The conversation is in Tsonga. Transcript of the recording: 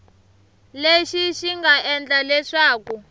lexi xi nga endla leswaku